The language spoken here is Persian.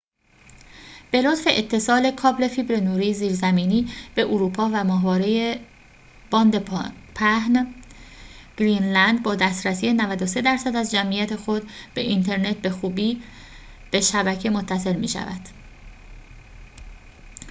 به لطف اتصال کابل فیبر نوری زیرزمینی به اروپا و ماهواره باند پهن، گرینلند با دسترسی 93٪ از جمعیت خود به اینترنت به خوبی به شبکه متصل می‌شود